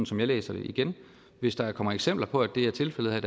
som jeg læser det igen hvis der kommer eksempler på at det er tilfældet her